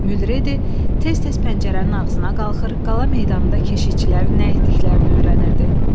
Mülredi tez-tez pəncərənin ağzına qalxır, qala meydanında keşişçilərin nə etdiklərini öyrənirdi.